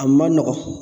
A ma nɔgɔn